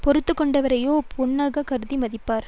பொறுத்து கொண்டவரையோ பொன்னாகக் கருதி மதிப்பர்